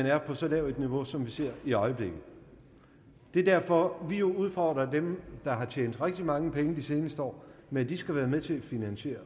er på så lavt et niveau som vi ser i øjeblikket det er derfor vi udfordrer dem der har tjent rigtig mange penge de seneste år med at de skal være med til at finansiere